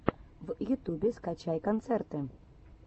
в ютубе скачай концерты